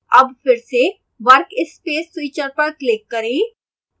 अब फिर से workspace switcher पर click करें